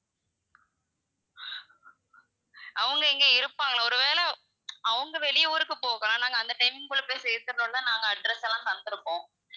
அவங்க அங்க இருப்பாங்களா, ஒரு வேலை அவங்க வெளி ஊருக்கு போகலாம் நாங்க அந்த timing குள்ள போய் சேந்துடணும்ன்னு தான் நாங்க address எல்லாம் தந்துருக்கோம்.